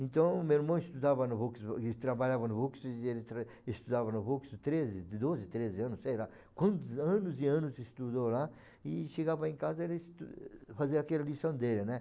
Então, meu irmão estudava no Vux, ele trabalhava no Vux, ele tra estudava no Vux treze, doze, treze anos, sei lá, quantos anos e anos estudou lá, e chegava em casa, ele estu, fazia aquela lição dele, né?